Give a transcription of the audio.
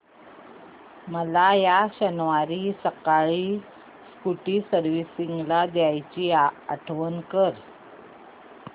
मला या शनिवारी सकाळी स्कूटी सर्व्हिसिंगला द्यायची आठवण कर